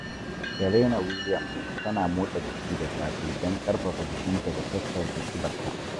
Serena Williams tana motsa jiki da safe don ƙarfafa jikinta da sassauta ƙibarta.